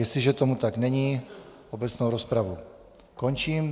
Jestliže tomu tak není, obecnou rozpravu končím.